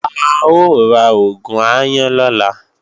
A ó ra oògùn aáyán lọ́la